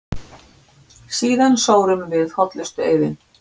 Síðan sórum við hollustueiðinn.